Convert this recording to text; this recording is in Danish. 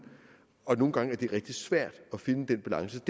og nogle gange er det rigtig svært at finde den balance